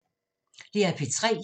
DR P3